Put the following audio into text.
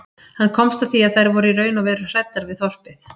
Hann komst að því að þær voru í raun og veru hræddar við þorpið.